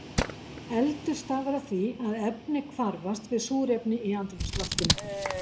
Eldur stafar af því að efni hvarfast við súrefni í andrúmsloftinu.